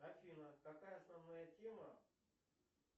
афина какая основная тема